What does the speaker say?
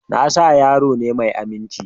Nasa yaro ne mai aminci